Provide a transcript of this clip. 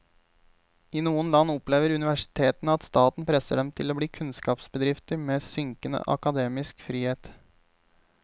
I noen land opplever universitetene at staten presser dem til å bli kunnskapsbedrifter med synkende akademisk frihet.